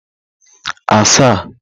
asaa